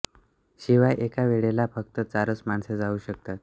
शिवाय एका वेळेला फक्त चारच माणसे जाऊ शकतात